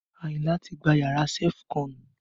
Ayinla ti gba yàrá sefú kọ́n